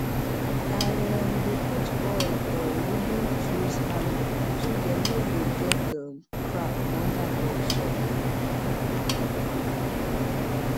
i um dey put oil foor wooden tools handle so dem no go get um crack under hot sum